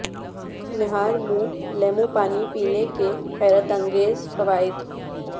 نہار منہ لیموں پانی پینے کے حیرت انگیز فوائد